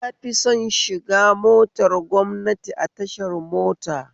Na fi son shiga motar gwamnati a tashar mota